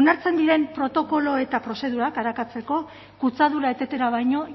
onartzen diren protokolo eta prozedurak arakatzeko kutsadura etetera baino